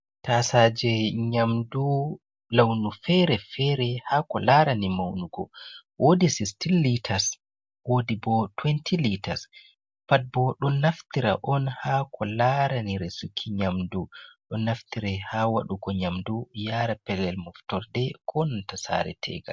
Tasaje nyamdu launu fere fere ha ko larani maunugo, wodi sistin litas, wodi bo tuwenti litas, pat ɓo ɗon naftira on ha ko larani resuki nyamdu, ɗon naftira ha waɗugo Nyamdu yara pelel moftorde ko nan ta sare btegal.